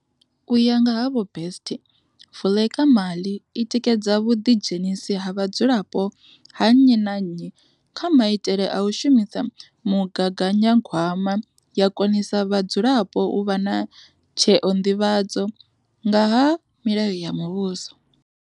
U ya nga ha Vho Best, Vuleka mali i tikedza vhuḓidzhenisi ha vhadzulapo na nnyi na nnyi kha maitele a u shumisa mugaganyagwama ya konisa vhadzulapo u vha na tsheo nḓivhadzwa nga ha milayo ya muvhuso.